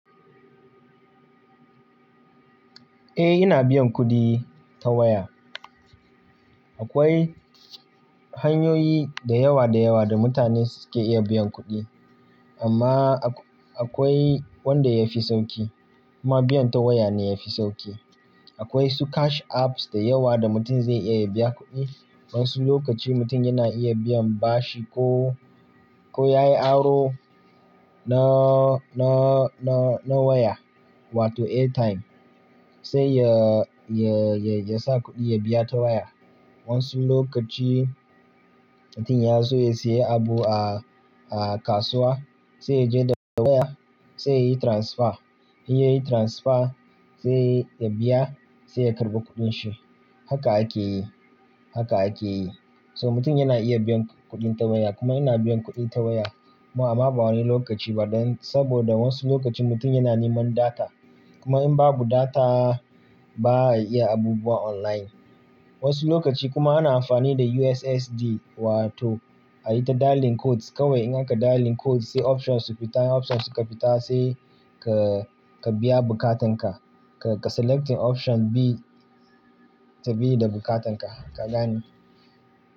Eh, ina biyan kuɗi ta waya. Akwai hanyoyi da yawa da yawa da mutane suke iya biyan kuɗi amma akwai wanda yafi sauki kuma biyan ta waya ne yafi sauki. Akwai su cash apps da yawa da mutum zai iya ya biya kuɗi. Wasu lokaci mutum yana iya biyan bashi ko, ko yayi aro na, na, na, na waya, wato airtime. Sai ya, ya, ya sa kuɗi ya biya ta waya. Wasu lokaci mutum ya so ya siya abu a, a kasuwa sai ya je da waya sai yayi transfer. In yayi transfer sai ya biya sai ya karɓi kuɗin shi. Haka akeyi, haka akeyi. So mutum yana iya biyan kuɗi ta waya kuma ina biyan kuɗi ta waya amma ba wani lokaci ba dan saboda wasu lokaci mutum yana neman data kuma in babu data ba a iya abubuwa online. Wasu lokaci kuma ana amfani da USSD wato ayi ta dialing code kawai in aka dialing code sai options su fita, options su kafita sai ka, ka biya bukatan ka. Ka, ka selecting option bi, ta bi da bukatan ka, ka gane.